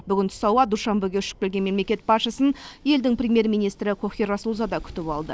бүгін түс ауа душанбеге ұшып келген мемлекет басшысын елдің премьер министрі кохир расулзада күтіп алды